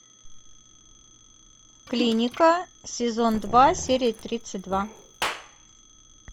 клиника сезон два серия тридцать два